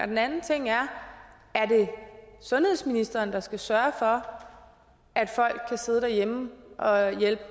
den anden ting er er det sundhedsministeren der skal sørge for at folk kan sidde derhjemme og hjælpe